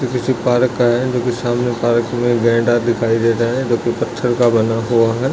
ये किसी पार्क का है जो की सामने पार्क मे गैंडा दिखाई दे रहा है जो की पत्थर का बना हुआ है।